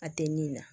A tɛ min na